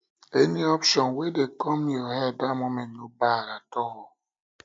any option wey dey kom yur head dat moment no bad at all